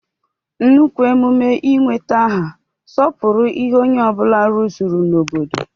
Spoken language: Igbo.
Nnukwu emume ị nweta aha sọpụrụ ihe onye ọ bụla rụzuru n'obodo.